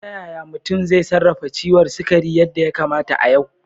Ta yaya mutum zai sarrafa ciwon sukari yadda ya kamata a yau?